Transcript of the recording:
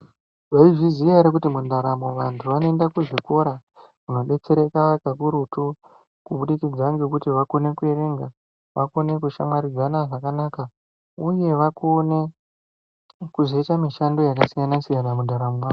Mwaiziya ere kuti mundaramo vantu vanoenda kuzvikora kodetsereka kakurutu kubudikidza ngekuti vakona kuerenga vakona kushamwaridzana zvakanaka uye vakonezve kuzoita mushando yakasiyana siyana mundaramo mwavo.